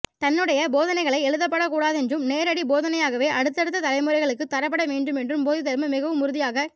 தன்னுடைய போதனைகள் எழுதப்படக்கூடாதென்றும் நேரடி போதனையாகவே அடுத்தடுத்த தலைமுறைகளுக்குத் தரப்பட வேண்டுமென்றும் போதிதர்மர் மிகவும் உறுதியாகக்